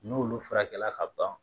N'olu furakɛla ka ban